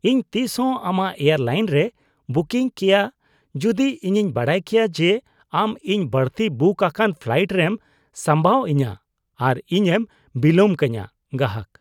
ᱤᱧ ᱛᱤᱥᱦᱚᱸ ᱟᱢᱟᱜ ᱮᱭᱟᱨᱞᱟᱭᱤᱱ ᱨᱮ ᱵᱩᱠᱤᱝ ᱠᱮᱭᱟ ᱡᱩᱫᱤ ᱤᱧᱤᱧ ᱵᱟᱰᱟᱭ ᱠᱟᱜ ᱠᱮᱭᱟ ᱡᱮ ᱟᱢ ᱤᱧ ᱵᱟᱹᱲᱛᱤ ᱵᱩᱠ ᱟᱠᱟᱱ ᱯᱷᱞᱟᱭᱤᱴ ᱨᱮᱢ ᱥᱟᱸᱵᱟᱣ ᱤᱧᱟᱹ ᱟᱨ ᱤᱧᱮᱢ ᱵᱤᱞᱟᱹᱢ ᱠᱟᱹᱧᱟᱹ ᱾ (ᱜᱟᱦᱟᱠ)